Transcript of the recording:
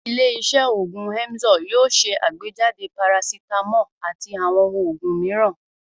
Ilé-iṣẹ́ òògùn Emzor yóò ṣe àgbéjáde parasítámọ̀ àti àwọn òògùn mìíràn.